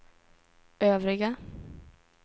övriga